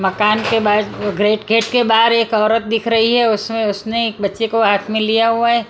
मकान के बाहर ग्रेट गेट के बाहर एक औरत दिख रही है उसमें उसने एक बच्चे को हाथ में लिया हुआ है।